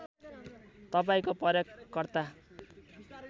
तपाईँको प्रयोगकर्ता